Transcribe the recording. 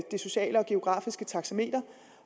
sociale og geografiske taxameter